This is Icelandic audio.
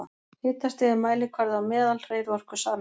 Hitastig er mælikvarði á meðalhreyfiorku sameinda.